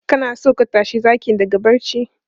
Kana so ka tashi zakin daga barci?